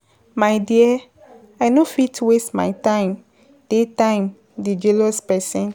My dear, I no fit waste my time, day time dey jealous person.